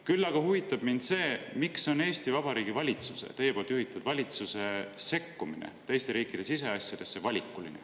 Küll aga huvitab mind see, miks on Eesti Vabariigi valitsuse, teie juhitud valitsuse sekkumine teiste riikide siseasjadesse valikuline.